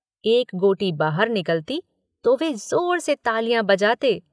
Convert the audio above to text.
एक गोटी बाहर निकलती तो वे ज़ोर से तालियां बजाते।